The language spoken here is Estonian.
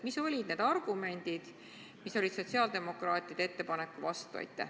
Mis olid need argumendid, mis olid sotsiaaldemokraatide ettepaneku vastu?